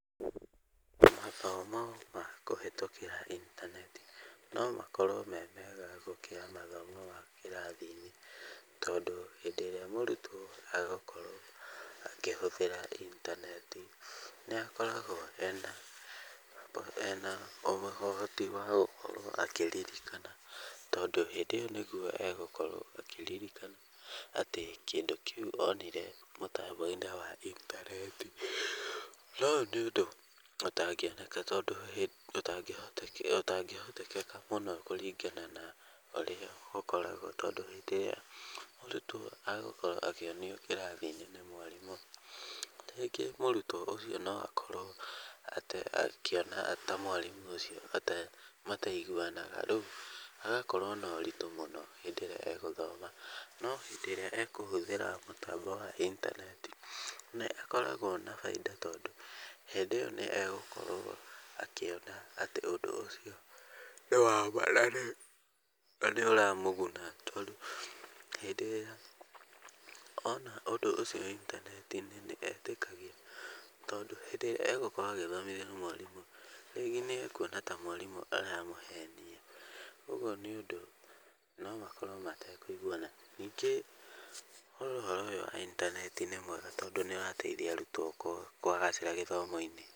Mathomo ma kũhĩtũkĩra intaneti no makorwo me mega gũkira mathoma ma kĩrathi-inĩ tondũ hĩndĩ ĩrĩa mũrutwo agũkorwo akĩhũthĩra intaneti nĩ akoragwo ena ũhoti wa gũkorwo akĩririkana tondũ hĩndĩ ĩyo nĩguo egũkorwo akĩririkana atĩ kĩndũ kĩu onire mũtambo-inĩ wa intaneti. Na ũyũ nĩ ũndũ ũtangĩoneka ũtangĩhotekeka mũno kũringana na ũrĩa gũkoragwo tondũ hĩndĩ ĩyo mũrutwo agũkorwo akĩonio kĩrathi-inĩ nĩ mwarimũ. Rĩngĩ mũrutwo ũcio no akorwo akĩona ta mwarimũ ũcio mataiguanaga rĩu hagakorwo na ũritũ mũno hĩndĩ ĩrĩa egũthoma. No hĩndĩ ĩrĩa ekũhũthĩra mũtambo wa intaneti nĩ akoragwo na baita tondũ hĩndĩ ĩyo nĩ egũkorwo akĩona atĩ ũndũ ũcio ni wama na nĩ ũramũguna. Tondũ hĩndĩ ĩrĩa ona ũndũ ũcio intaneti-inĩ nĩ etĩkagia tondũ hĩndĩ ĩrĩa egũkorwo agĩthomithio nĩ mwarimũ rĩngĩ nĩ ekuona ta mwarimũ aramũhenia. Ũguo nĩ ũndũ no makorwo matekũiguana. Ningĩ ũhoro ũyũ wa intaneti nĩ mwega tondũ nĩ ũrateithia arutwo kũgacĩra gĩthomo-inĩ.